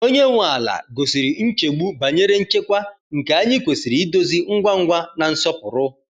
Onye nwe ala gosiri nchegbu banyere nchekwa, nke anyị kwesịrị idozi ngwa ngwa na nsọpụrụ.